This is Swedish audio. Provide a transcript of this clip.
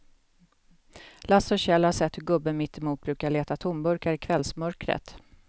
Lasse och Kjell har sett hur gubben mittemot brukar leta tomburkar i kvällsmörkret.